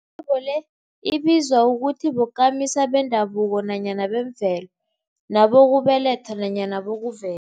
hlobo le ibizwa ukuthi bokamisa bendabuko nanyana bemvelo, nabokubelethwa nanyana bokuve